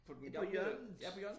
På den gamle ja på hjørnet